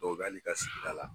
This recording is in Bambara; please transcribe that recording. O b'ale ka sigida la.